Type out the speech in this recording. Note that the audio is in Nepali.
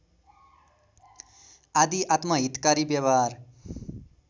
आदि आत्महितकारी व्यवहार